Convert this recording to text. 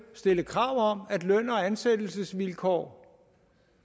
stille krav om at løn og ansættelsesvilkår